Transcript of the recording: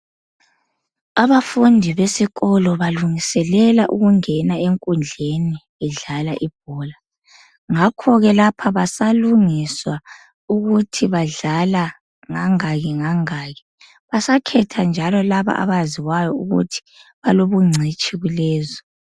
Abafundi besikolo balungiselela ukungena enkundleni bedlala ibhola, ngakhoke lapha basalungiswa ukuthi badlala ngangaki ngangaki. Basakhetha njalo labo abaziwayo ukuthi balobungcitshi kulezo.